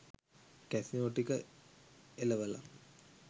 casino ටික එලවල